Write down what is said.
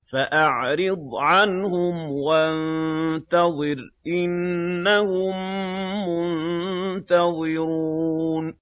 فَأَعْرِضْ عَنْهُمْ وَانتَظِرْ إِنَّهُم مُّنتَظِرُونَ